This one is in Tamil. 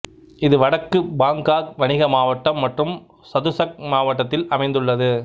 இது வடக்கு பாங்காக் வணிக மாவட்டம் மற்றும் சதுசக் மாவட்டத்தில் அமைந்துள்ளது